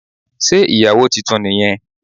Sé ìyàwó titun ni yẹn